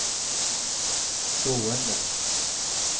stående